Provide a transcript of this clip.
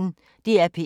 DR P1